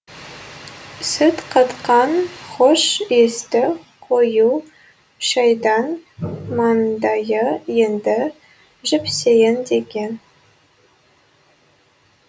сүт қатқан хош иісті қою шайдан маңдайы енді жіпсейін деген